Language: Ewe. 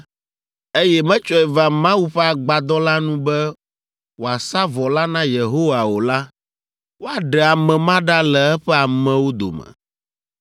eye metsɔe va Mawu ƒe Agbadɔ la nu be wòasa vɔ la na Yehowa o la, woaɖe ame ma ɖa le eƒe amewo dome.